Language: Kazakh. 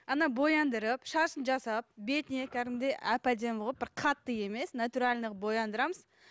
ана бояндырып шашын жасап бетіне кәдімгідей әп әдемі қылып бір қатты емес натуральный қылып бояндырамыз